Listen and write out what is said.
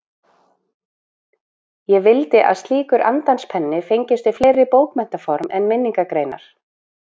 Ég vildi að slíkur andans penni fengist við fleiri bókmenntaform en minningargreinar.